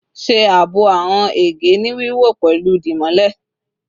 Ṣe aabo awọn ege ni wiwọ pẹlu dimole